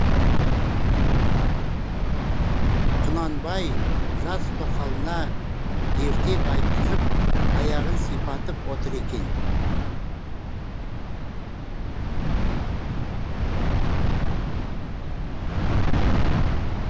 құнанбай жас тоқалына ертек айтқызып аяғын сипатып отыр екен